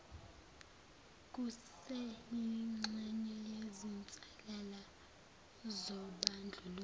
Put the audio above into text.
kuseyingxenye yezinsalela zobandlululo